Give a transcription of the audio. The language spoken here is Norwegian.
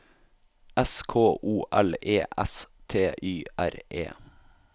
S K O L E S T Y R E